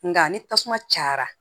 Nka ni tasuma cayara